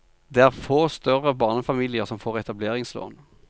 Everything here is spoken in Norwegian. Det er få større barnefamilier som får etableringslån.